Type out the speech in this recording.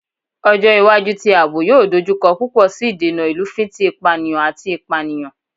Ọjọ iwaju ti aabo yoo dojukọ pupọ si idena ilufin ti ipaniyan ati ipaniyan